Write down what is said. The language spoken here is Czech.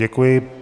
Děkuji.